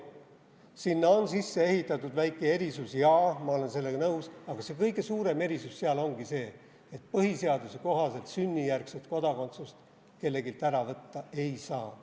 Sinna on sisse ehitatud väike erisus – jaa, ma olen sellega nõus –, aga see kõige suurem erisus seal ongi see, et põhiseaduse kohaselt sünnijärgset kodakondsust kelleltki ära võtta ei saa.